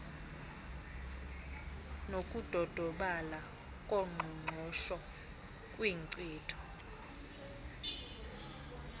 nokudodobala koqoqosho kwinkcitho